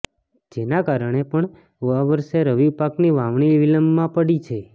જેના કારણે પણ આ વર્ષે રવિ પાકની વાવણી વિલંબમાં પડી છે